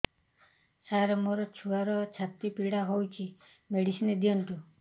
ସାର ମୋର ଛୁଆର ଛାତି ପୀଡା ହଉଚି ମେଡିସିନ ଦିଅନ୍ତୁ